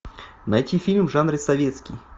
найти фильм в жанре советский